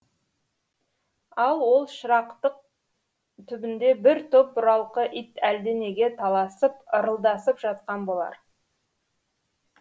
ал ол шырақтың түбінде бір топ бұралқы ит әлденеге таласып ырылдасып жатқан болар